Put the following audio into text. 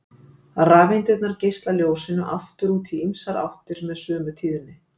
Rafeindirnar geisla ljósinu aftur út í ýmsar áttir með sömu tíðni.